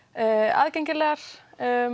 aðgengilegar